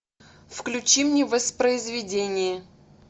включи мне воспроизведение